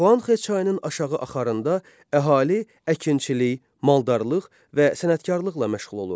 Xuanxə çayının aşağı axarında əhali əkinçilik, maldarlıq və sənətkarlıqla məşğul olurdu.